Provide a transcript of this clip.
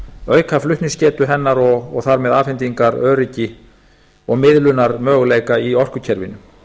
auka flutningsgetu hennar og þar með afhendingaröryggi og miðlunarmöguleika í orkukerfinu